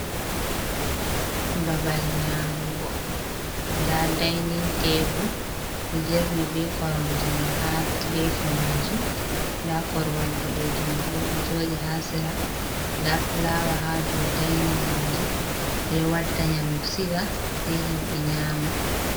Babal nyamugo da dainin tebul do jerni be korom je mi ha gefi majum, da korowal bodejum dojodi ha sira dafulawa ha do dainin majum bedo wadda nyamdu siga sei himbe nyama.